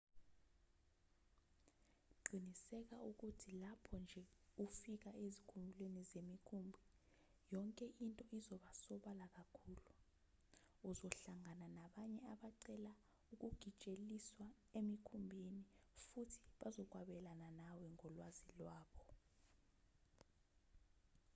qiniseka ukuthi lapho nje ufika ezikhumulweni zemikhumbi yonke into izoba sobala kakhulu uzohlangana nabanye abacela ukugitsheliswa emikhumbini futhi bazokwabelana nawe ngolwazi lwabo